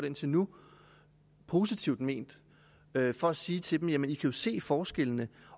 indtil nu positivt ment for at sige til dem jamen i kan jo se forskellene